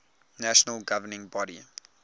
national governing body